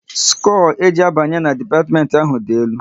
Skoo e ji abanye na dipatiment ahụ dị elu